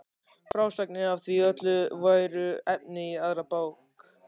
Frásagnir af því öllu væru efni í aðra bók.